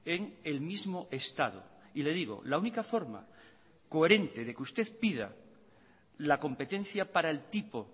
en el mismo estado y le digo la única forma coherente de que usted pida la competencia para el tipo